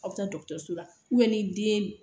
Aw bɛ taa dɔgɔtɔrɔso la ni den